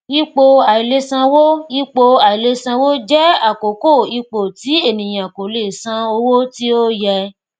ipò aìlèsanwó ipò aìlèsanwó jẹ àkókò ipò tí ènìyàn kò lè san owó tí ó yẹ